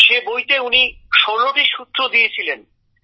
সে বইতে উনি ১৬টি সূত্র দিয়েছিলেন